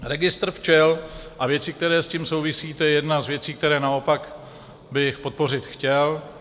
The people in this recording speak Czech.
Registr včel a věci, které s tím souvisí, to je jedna z věcí, které naopak bych podpořit chtěl.